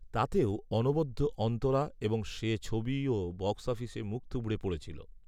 তাতেও অনবদ্য অন্তরা এবং সে ছবিও বক্স অফিসে মুখ থুবড়ে পড়েছিল